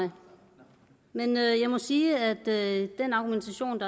mig men jeg må sige at den argumentation